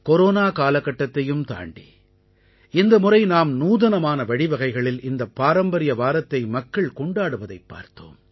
corona காலகட்டத்தையும் தாண்டி இந்த முறை நாம் நூதனமான வழிவகைகளில் இந்தப் பாரம்பரிய வாரத்தை மக்கள் கொண்டாடுவதைப் பார்த்தோம்